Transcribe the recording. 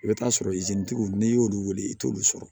I bɛ t'a sɔrɔ tigiw n'i y'olu wele i t'olu sɔrɔ